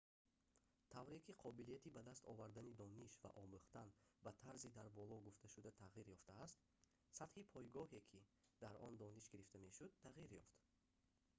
тавре ки қобилияти ба даст овардани дониш ва омӯхтан ба тарзи дар боло гуфташуда тағйир ёфтааст сатҳи пойгоҳе ки дар он дониш гирифта мешуд тағйир ёфт